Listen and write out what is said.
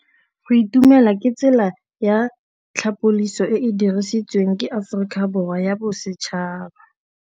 Go itumela ke tsela ya tlhapolisô e e dirisitsweng ke Aforika Borwa ya Bosetšhaba.